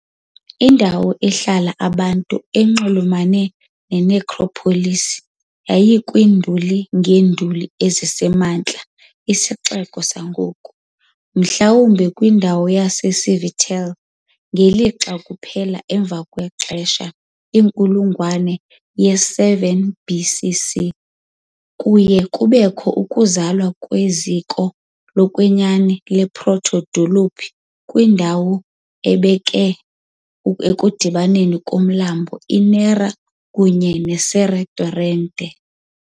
Indawo ehlala abantu enxulumene ne-necropolis yayikwiinduli kunye neenduli ezisemantla esixeko sangoku, mhlawumbi kwindawo yaseCivitella, ngelixa kuphela emva kwexesha, inkulungwane yesi-7 BC.C., kuye kubakho ukuzalwa kweziko lokwenyani le-proto-dolophi kwindawo ebeke ekudibaneni komlambo iNera kunye ne-Serra torrent.